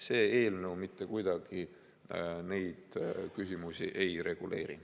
See eelnõu mitte kuidagi neid küsimusi ei reguleeri.